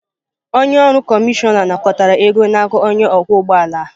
Onye ọrụ kọmishọna nakọtara ego n'aka onye ọkwọ ụgbọ ala.